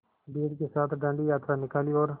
भीड़ के साथ डांडी यात्रा निकाली और